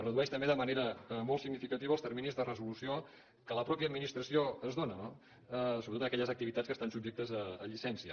redueix també de manera molt significativa els terminis de resolució que la mateixa administració es dóna no sobretot en aquelles activitats que estan subjectes a llicència